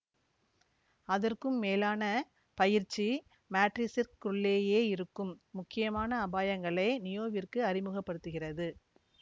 அதற்கும் மேலான பயிற்சி மேட்ரிக்ஸிற்குள்ளேயே இருக்கும் முக்கியமான அபாயங்களை நியோவிற்கு அறிமுக படுத்துகிறது